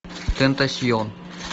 тентасьон